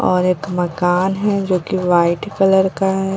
और एक मकान है जो की व्हाइट कलर का है।